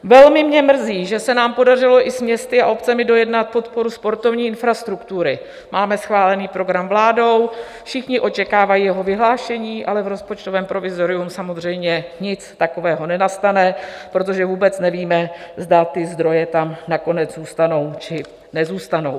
Velmi mě mrzí, že se nám podařilo i s městy a obcemi dojednat podporu sportovní infrastruktury, máme schválený program vládou, všichni očekávají jeho vyhlášení, ale v rozpočtovém provizoriu samozřejmě nic takového nenastane, protože vůbec nevíme, zda ty zdroje tam nakonec zůstanou, či nezůstanou.